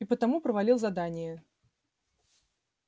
и потому провалил задание